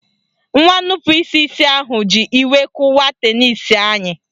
Nwa nnupụisi isi ahụ ji iwe kụwaa tenisi anyị